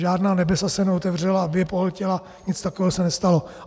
Žádná nebesa se neotevřela, aby je pohltila, nic takového se nestalo.